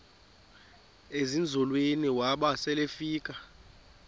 ezinzulwini waba selefika